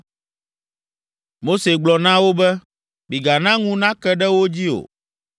Mose gblɔ na wo be, “Migana ŋu nake ɖe wo dzi o.”